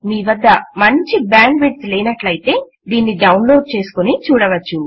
మీ వద్ద మంచి bandwidth లేనట్లయితే దీని డౌన్ లోడ్ చేసుకుని చూడవచ్చు